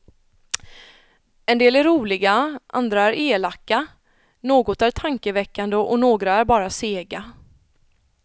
En del är roliga, andra är elaka, något är tankeväckande och några är bara sega.